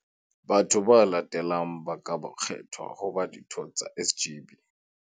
Batho ba latelang ba ka kgethwa ho ba ditho tsa SGB.